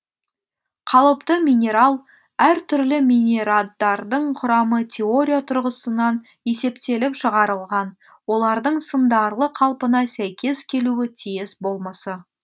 қалыпты минерал әр түрлі минераддардың құрамы теория тұрғысынан есептеліп шығарылған олардың сындарлы қалпына сәйкес келуі тиіс болмысы